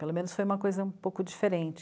Pelo menos foi uma coisa um pouco diferente.